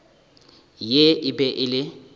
ye e be e le